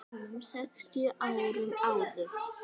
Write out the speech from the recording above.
rúmum sextíu árum áður.